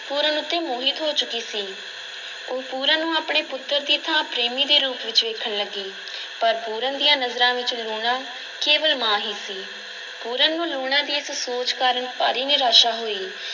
ਪੂਰਨ ਉੱਤੇ ਮੋਹਿਤ ਹੋ ਚੁੱਕੀ ਸੀ, ਉਹ ਪੂਰਨ ਨੂੰ ਆਪਣੇ ਪੁੱਤਰ ਦੀ ਥਾਂ ਪ੍ਰੇਮੀ ਦੇ ਰੂਪ ਵਿੱਚ ਵੇਖਣ ਲੱਗੀ ਪਰ ਪੂਰਨ ਦੀਆਂ ਨਜ਼ਰਾਂ ਵਿੱਚ ਲੂਣਾ ਕੇਵਲ ਮਾਂ ਹੀ ਸੀ, ਪੂਰਨ ਨੂੰ ਲੂਣਾ ਦੀ ਇਸ ਸੋਚ ਕਾਰਨ ਭਾਰੀ ਨਿਰਾਸ਼ਾ ਹੋਈ।